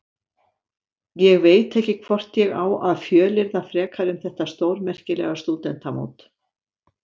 Ég veit ekki hvort ég á að fjölyrða frekar um þetta stórmerkilega stúdentamót.